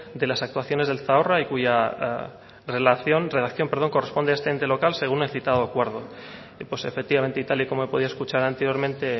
de las actuaciones del zadorra y cuya redacción corresponde a este ente local según el citado acuerdo pues efectivamente y tal y como he podido escuchar anteriormente